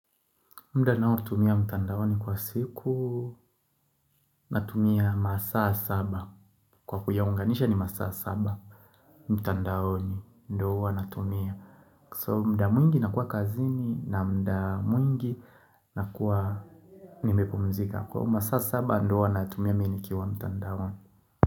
Mda nao tumia mtandaoni kwa siku na tumia masaa saba kwa kuyaunganisha ni masaa saba mtandaoni ndo huwana tumia So mda mwingi na kuwa kazini na mda mwingi na kuwa nimepumzika kwo masaa saba ndo huwa na tumia minikiwa mtandaoni.